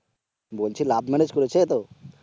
বলছি love marriage করেছে তো?